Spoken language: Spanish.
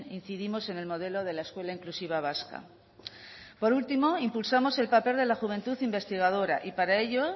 incidimos en el modelo de la escuela inclusiva vasca por último impulsamos el papel de la juventud investigadora y para ello